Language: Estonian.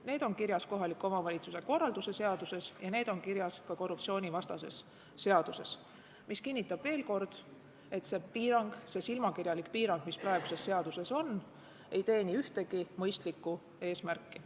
Need on kirjas kohaliku omavalitsuse korralduse seaduses ja need on kirjas ka korruptsioonivastases seaduses, mis kinnitab veel kord, et see piirang, see silmakirjalik piirang, mis praeguses seaduses on, ei teeni ühtegi mõistlikku eesmärki.